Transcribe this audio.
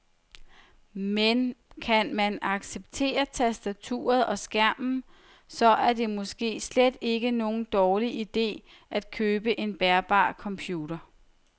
Men kan man acceptere tastaturet og skærmen, så er det måske slet ikke nogen dårlig ide at købe en bærbar computer.